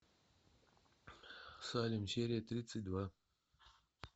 салем серия тридцать два